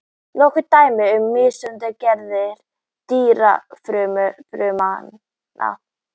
Nokkur dæmi um mismunandi gerðir dýrafrumna.